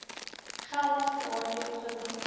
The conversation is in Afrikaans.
geld daardie beginsel